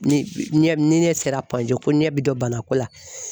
Ni ɲɛ ni ɲɛ sera ko ɲɛ bɛ don banako la.